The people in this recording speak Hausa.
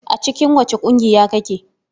A cikin wace ƙungiya kake?